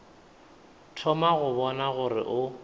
thoma go bona gore o